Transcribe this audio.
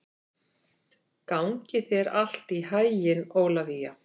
Gangi þér allt í haginn, Ólivía.